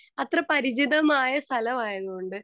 speaker 2 അത്ര പരിചിതമായ സ്ഥലമായതു കൊണ്ട്